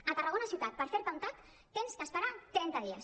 a tarragona ciutat per fer te un tac has d’esperar trenta dies